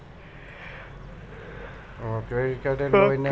O credit card A